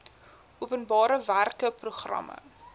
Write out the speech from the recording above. openbare werke programme